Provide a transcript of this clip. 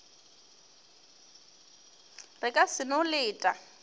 re ka se no leta